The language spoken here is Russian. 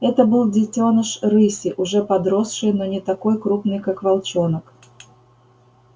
это был детёныш рыси уже подросший но не такой крупный как волчонок